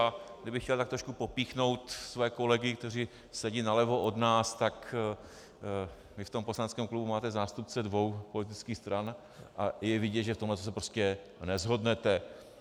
A kdybych chtěl tak trošku popíchnout své kolegy, kteří sedí nalevo od nás, tak vy v tom poslaneckém klubu máte zástupce dvou politických stran a je vidět, že v tomhle se prostě neshodnete.